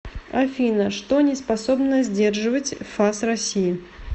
афина что не способно сдерживать фас россии